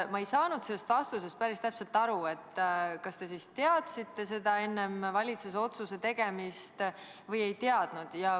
Ma ei saanud sellest vastusest päris täpselt aru, kas te siis teadsite seda enne valitsuse otsuse tegemist või ei teadnud.